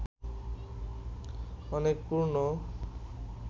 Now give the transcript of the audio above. অনেক পূর্ণ